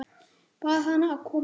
Bað hana að koma strax.